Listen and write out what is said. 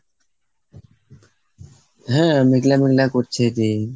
হ্যাঁ. মেঘলা মেঘলা করছে যে।